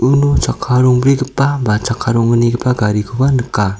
uno chakka rongbrigipa ba chakka ronggnigipa garikoba nika.